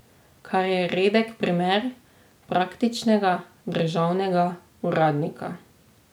Kar je redek primer praktičnega državnega uradnika.